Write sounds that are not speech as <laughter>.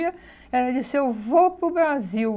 <unintelligible> ela disse, eu vou para o Brasil.